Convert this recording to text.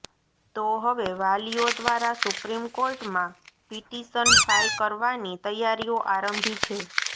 તો હવે વાલીઓ દ્વારા સુપ્રીમકોર્ટમાં પિટિશન ફાઇલ કરવાની તૈયારીઓ આરંભી છે